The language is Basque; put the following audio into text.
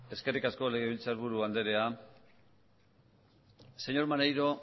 eskerrik asko legebiltzaburu anderea señor maneiro